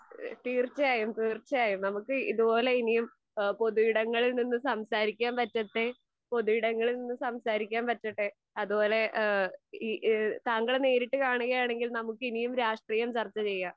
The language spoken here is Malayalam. തീർച്ചയായും തീർച്ചയായും നമുക്ക് ഇതുപോലെ ഇനിയും ഇഹ് പൊതു ഇടങ്ങളിൽ നിന്ന് സംസാരിക്കാൻ പറ്റട്ടെ. പൊതു ഇടങ്ങളിൽ നിന്ന് സംസാരിക്കാൻ പറ്റട്ടെ. അതുപോലെ ഏഹ് ഇ താങ്കളെ നേരിട്ട് കാണുകയാണെങ്കിൽ നമുക്കിനിയും രാഷ്ട്രീയം ചർച്ചചെയ്യാം.